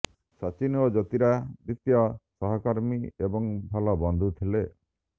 ସଚିନ ଓ ଜ୍ୟୋତିରାଦିତ୍ୟ ସହକର୍ମୀ ଏବଂ ଭଲ ବନ୍ଧୁ ଥିଲେ